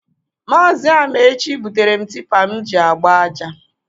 Maazi Amaechi butere m tipa m ji agba aja.